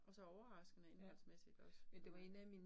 Og så overraskende indholdsmæssigt også det var